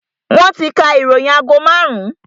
Wọn ti ka ìròyìn agogo marun-un